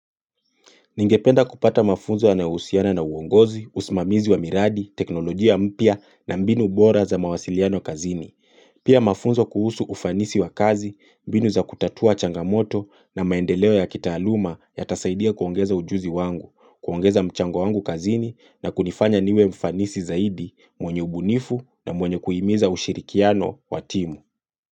Ningependa kupata mafunzo yanao husiana na usiana na uongozi, usimamizi wa miradi, teknolojia mpya na mbinu bora za mawasiliano kazini. Pia mafunzo kuhusu ufanisi wa kazi, mbinu za kutatua changamoto na maendeleo ya kitaaluma yata saidia kuongeza ujuzi wangu, kuongeza mchango wangu kazini na kunifanya niwe mfanisi zaidi mwenye ubunifu na mwenye kuhimiza ushirikiano wa timu.